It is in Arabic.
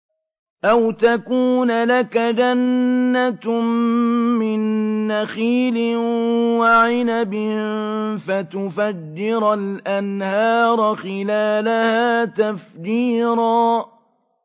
أَوْ تَكُونَ لَكَ جَنَّةٌ مِّن نَّخِيلٍ وَعِنَبٍ فَتُفَجِّرَ الْأَنْهَارَ خِلَالَهَا تَفْجِيرًا